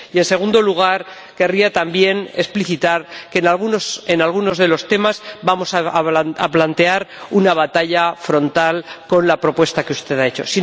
Y en segundo lugar, querría también explicitar que en algunos de los temas vamos a plantear una batalla frontal con la propuesta que usted ha hecho.